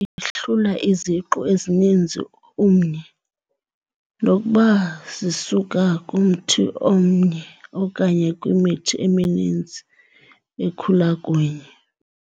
ihlula iziqu ezininzi umnye nokuba zisuka kumthi omnye okanye kwimithi emininzi ekhula kunye.